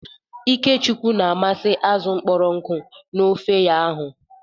Ikechukwu na-amasị azụ kpọrọ nkụ na ofe ya.hu